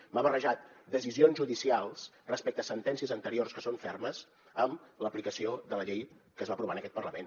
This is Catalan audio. m’ha barrejat decisions judicials respecte a sentències anteriors que són fermes amb l’aplicació de la llei que es va aprovar en aquest parlament